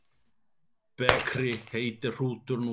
Bekri heitir hrútur nú.